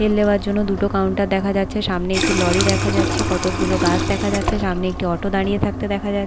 বিল দেবার জন্য দুটো কাউন্টার দেখা যাচ্ছে সামনে একটি লরি দেখা যাচ্ছে কতগুলো গাছ দেখা যাচ্ছে সামনে একটি অটো দাঁড়িয়ে থাকতে দেখা যা--